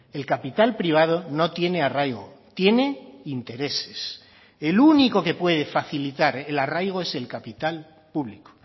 el capital privado no tiene arraigo tiene intereses el único que puede facilitar el arraigo es el capital público